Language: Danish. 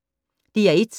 DR1